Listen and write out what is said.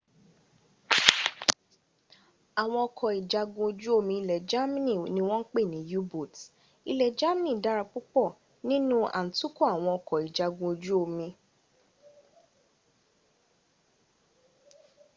àwọn ọkọ̀ ìjagun ojú omi ilẹ̀ germany ni wọ́n ń pè ní u-boats. ilẹ̀ germany dára púpọ̀ nínú à ń tukọ̀ àwọn ọkọ̀ ìjagun ojú omi